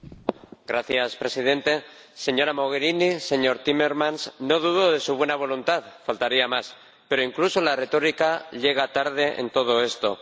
Señor Presidente, señora Mogherini, señor Timmermans, no dudo de su buena voluntad, faltaría más, pero incluso la retórica llega tarde en todo esto.